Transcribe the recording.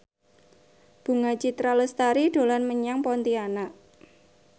Bunga Citra Lestari dolan menyang Pontianak